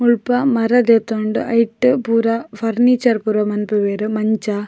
ಮುಳ್ಪ ಮರ ದೆತೊಂಡ್ ಐಟ್ ಪೂರ ಫರ್ನೀಚರ್ ಪೂರ ಮನ್ಪುವೆರ್ ಮಂಚ.